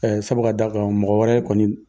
sabu ka d'a kan mɔgɔ wɛrɛ kɔni